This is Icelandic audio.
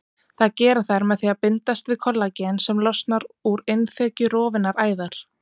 Það gera þær með því að bindast við kollagen sem losnar úr innþekju rofinnar æðar.